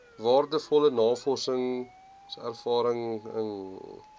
waardevolle navorsingservaring ingewin